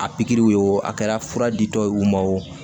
A pikiriw ye wo a kɛra fura di dɔw ye u ma wo